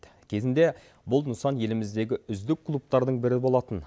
кезінде бұл нысан еліміздегі үздік клубтардың бірі болатын